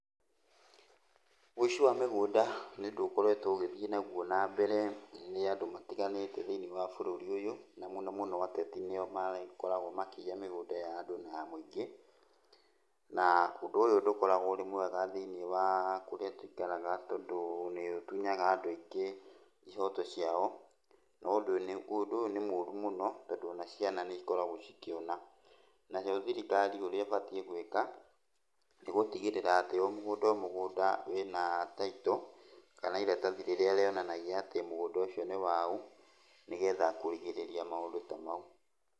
Ũici wa mĩgũnda nĩũndũ ũkoretwo ũgĩthiĩ nagũo na mbere nĩ andũ matiganĩte thĩinĩ wa bũrũri ũyũ, na mũno mũno ateti nĩo makoragwo makĩiya mĩgũnda ya andũ na ya mũingĩ. Na ũndũ ũyũ ndũkoragwo ũrĩ mwega thĩinĩ wa kũrĩa tũikaraga tondũ nĩũtunyaga andũ aingĩ ihoto ciao. Ũndũ ũyũ nĩ mũru mũno tondũ ona ciana nĩikoragwo cikĩona. Nayo thirikari ũrĩa ĩbatiĩ gwĩka, nĩ gũtigĩrĩra atĩ o mũgũnda o mũgũnda wĩna title, kana iratathi rĩrĩa rĩonanagia atĩ mũgũnda ũcio nĩ wau, nigetha kũrigĩrĩria maũndũ ta mau.